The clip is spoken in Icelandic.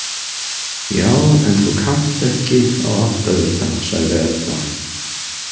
Já, en þú kannt ekki á áttavita, sagði Edda.